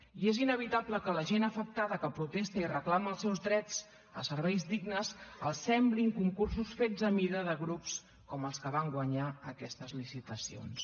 i és inevitable que a la gent afectada que protesta i reclama els seus drets a serveis dignes els semblin concursos fets a mida de grups com els que van guanyar aquestes licitacions